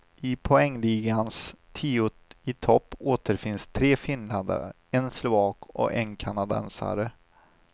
I poängligans tio i topp återfinns tre finländare, en slovak och en kanadensare.